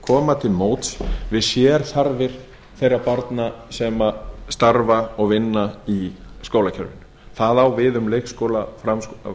koma til móts við sérþarfir þeirra barna sem starfa og vinna í skólakerfinu það á við um leikskóla grunnskóla og